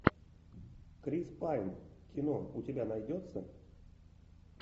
крис пайн кино у тебя найдется